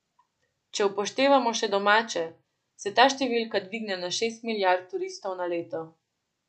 Če upoštevamo še domače, se ta številka dvigne na šest milijard turistov na leto.